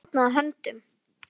Mamma fórnaði höndum.